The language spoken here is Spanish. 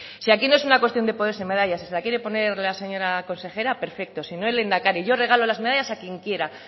si aquí no es una cuestión de ponerse medallas si se la quiere poner la señora consejera perfecto sino el lehendakari yo regalo las medallas a quien quiera